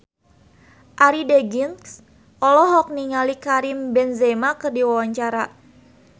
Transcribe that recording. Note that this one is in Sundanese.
Arie Daginks olohok ningali Karim Benzema keur diwawancara